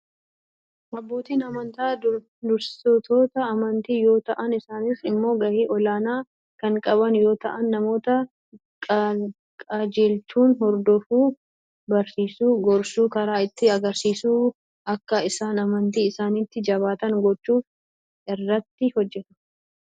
Abbootiin amantii dursitoota amantii yoo ta'an isaaniis immoo gahee ol aanaa kan qaban yoo ta'an namoota qajeelchuu, hordofuu , barsiisuu , gorsuu , karaa itti agarsiisuu , akka isaan amantii isaaniitti jabaatan gochuufaa irratti hojjetu.